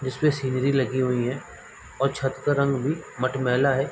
जिस पे सीढ़ी लगी हुई है और छत का रंग भी मटमेला है।